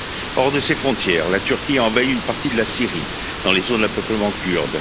Hors de ses frontières, la Turquie a envahi une partie de la Syrie dans les zones à peuplement kurde.